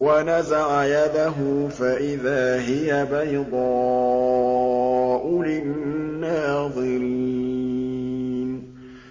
وَنَزَعَ يَدَهُ فَإِذَا هِيَ بَيْضَاءُ لِلنَّاظِرِينَ